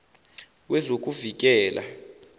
wezokuvikela